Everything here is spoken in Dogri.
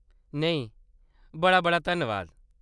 नेईं, बड़ा-बड़ा धन्नबाद।